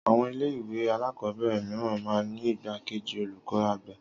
Àwon ilé ìwé alákòóbèrè mìíràn máa n ní igbá kejì olùkó àgbà